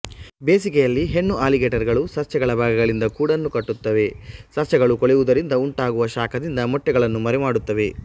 ಬೇಸಿಗೆಯಲ್ಲಿ ಹೆಣ್ಣು ಅಲಿಗೇಟರ್ಗಳು ಸಸ್ಯಗಳ ಭಾಗಗಳಿಂದ ಗೂಡನ್ನು ಕಟ್ಟುತ್ತವೆ ಸಸ್ಯಗಳು ಕೊಳೆಯುವುದರಿಂದ ಉಂತಾಗುವ ಶಾಖದಿಂದ ಮೊಟ್ಟೆಗಳನ್ನು ಮರಿ ಮಾಡುತ್ತವೆ